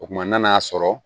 O kumana n'a y'a sɔrɔ